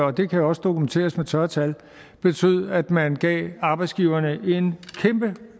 og det kan jo også dokumenteres med tørre tal betød at man gav arbejdsgiverne en kæmpe